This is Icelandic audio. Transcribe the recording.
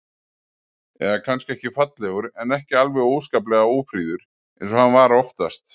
Eða kannski ekki fallegur, en ekki alveg óskaplega ófríður eins og hann var oftast.